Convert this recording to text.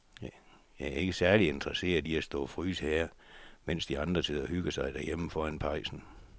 Jeg er ikke særlig interesseret i at stå og fryse her, mens de andre sidder og hygger sig derhjemme foran pejsen.